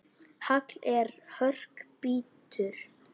Hagl í hörkum bítur.